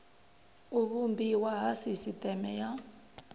u vhumbiwa ha sisiteme ya